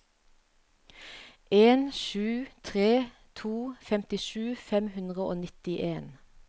en sju tre to femtisju fem hundre og nittien